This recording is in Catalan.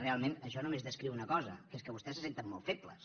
realment això només descriu una cosa que és que vostès se senten molt febles